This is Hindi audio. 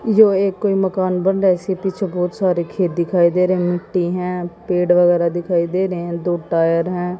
यो एक कोई मकान बंद है इसके पीछे बहुत सारे खेत दिखाई दे रहे मिट्टी हैं पेड़ वगैरा दिखाई दे रहे हैं दो टायर है।